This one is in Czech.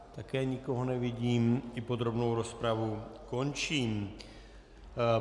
Také nikoho nevidím, i podrobnou rozpravu končím.